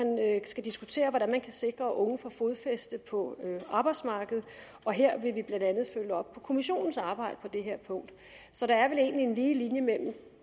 skal diskutere hvordan man kan sikre at de unge får fodfæste på arbejdsmarkedet og her vil vi blandt andet følge op på kommissionens arbejde på det her punkt så der er vel egentlig en lige linje mellem